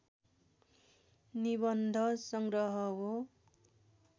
निबन्ध सङ्ग्रह हो